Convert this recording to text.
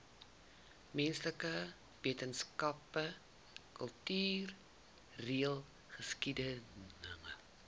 menslike wetenskappe kultureelgeskiedkundige